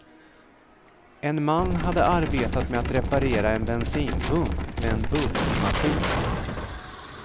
En man hade arbetat med att reparera en bensinpump, med en bultmaskin.